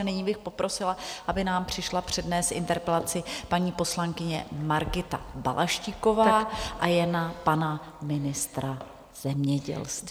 A nyní bych poprosila, aby nám přišla přednést interpelaci paní poslankyně Margita Balaštíková, a je na pana ministra zemědělství.